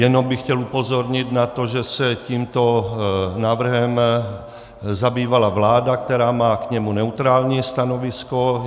Jenom bych chtěl upozornit na to, že se tímto návrhem zabývala vláda, která má k němu neutrální stanovisko.